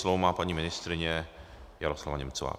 Slovo má paní ministryně Jaroslava Němcová.